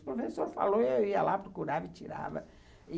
O professor falou e eu ia lá procurar e tirava.